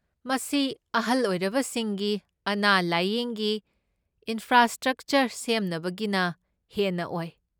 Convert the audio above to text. ꯃꯁꯤ ꯑꯍꯜ ꯑꯣꯏꯔꯕꯁꯤꯡꯒꯤ ꯑꯅꯥ ꯂꯥꯢꯌꯦꯡꯒꯤ ꯏꯟꯐ꯭ꯔꯥꯁ꯭ꯇꯔꯛꯆꯔ ꯁꯦꯝꯅꯕꯒꯤꯅ ꯍꯦꯟꯅ ꯑꯣꯏ꯫